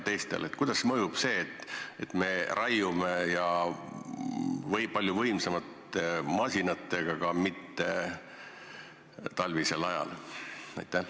Millist mõju avaldab see, et me raiume palju võimsamate masinatega ja teeme seda muul kui talvisel ajal?